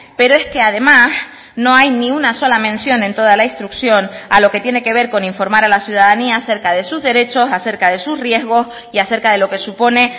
pero es que además no hay ni una sola mención en toda la instrucción a lo que tiene que ver con informar a la ciudadanía acerca de sus derechos acerca de sus riesgos y acerca de lo que supone